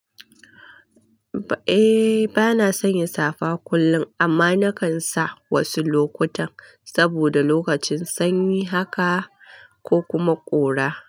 Eh bana sanya safa kullum amma nakan sa wasu lokutan saboda lokacin sanyi haka ko kuma ƙura.